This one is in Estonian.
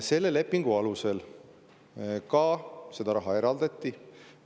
Selle lepingu alusel seda raha eraldati.